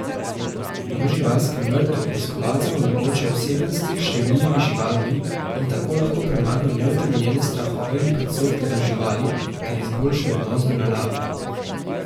V živalskem vrtu obiskovalcem omogočajo oseben stik s številnimi živalmi in tako lahko premagajo neutemeljene strahove in predsodke do živali ter izboljšajo odnos do narave.